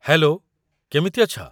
Hello, କେମିତି ଅଛ?